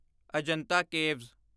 Ajanta caves